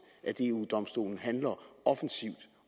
at eu domstolen handler offensivt